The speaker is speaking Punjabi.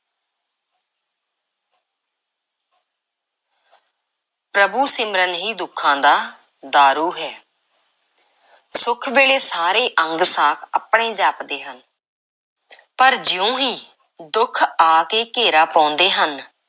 ਪ੍ਰਭੂ–ਸਿਮਰਨ ਹੀ ਦੁੱਖਾਂ ਦਾ ਦਾਰੂ ਹੈ। ਸੁੱਖ ਵੇਲੇ ਸਾਰੇ ਅੰਗ–ਸਾਕ ਆਪਣੇ ਜਾਪਦੇ ਹਨ ਪਰ ਜਿਉਂ ਹੀ ਦੁੱਖ ਆ ਕੇ ਘੇਰਾ ਪਾਉਂਦੇ ਹਨ,